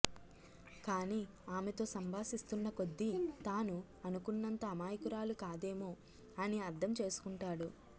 కాని ఆమెతో సంభాషిస్తున్నకొద్దీ తాను అనుకున్నంత అమాయకురాలు కాదమె అని అర్థం చేసుకుంటాడు